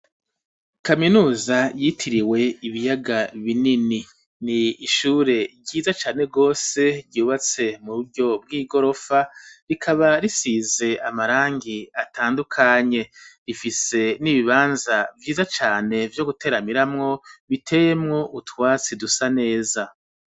Kaminuza yitiriwe ibiyaga binini n'ishure ryiza cane gose ryubatswe mu buryo bw'igorofa rikaba risize amarangi atandukanye rifise n'ibibanza vyiza cane vyo guteramiramwo biteyemwo utwatsi dusa neza .